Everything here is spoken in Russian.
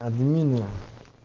админы